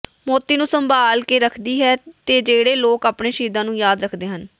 ਮੋਤੀ ਨੂੰ ਸੰਭਾਲ ਕੇ ਰੱਖਦੀ ਹੈ ਤੇ ਜਿਹੜੇ ਲੋਕ ਆਪਣੇ ਸ਼ਹੀਦਾਂ ਨੂੰ ਯਾਦ ਰੱਖਦੇ ਹਨ